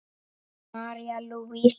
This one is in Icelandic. María Lúísa.